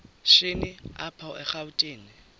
shini apho erawutini